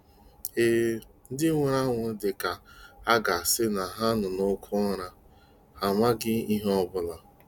Eee, ndị nwụrụ anwụ dị ka à ga-asị na ha nọ n'oké ụra, ha amaghị ihe ọ bụla.